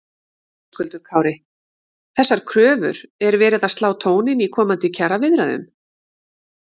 Höskuldur Kári: Þessar kröfur er verið að slá tóninn í komandi kjaraviðræðum?